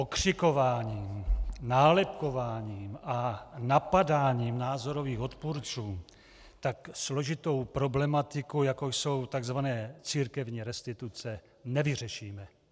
Okřikováním, nálepkováním a napadáním názorových odpůrců tak složitou problematiku, jakou jsou tzv. církevní restituce, nevyřešíme.